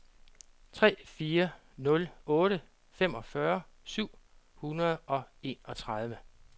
tre fire nul otte femogfyrre syv hundrede og enogtredive